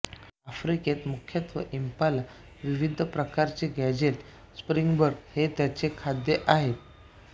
अाफ़्रिकेत मुख्यत्वे इंपाला विविध प्रकारचे गॅज़ेल स्प्रिंगबक हे त्याचे खाद्य आहे